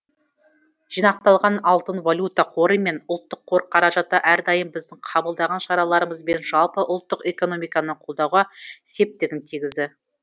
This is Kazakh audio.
жинақталған алтын валюта қоры мен ұлттық қор қаражаты әрдайым біздің қабылдаған шараларымыз бен жалпы ұлттық экономиканы қолдауға септігін тигізді